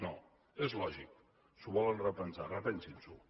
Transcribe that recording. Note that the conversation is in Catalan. no és lògic s’ho volen repensar repensin s’ho